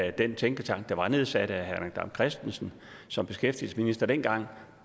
i den tænketank der var nedsat af herre henrik dam kristensen som beskæftigelsesminister dengang